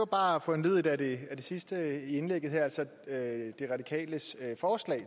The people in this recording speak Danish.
bare foranlediget af det sidste i indlægget her altså de radikales forslag